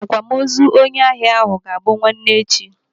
Akwamozu onye ahịa ahụ bụ ga-abụ nwanne echi.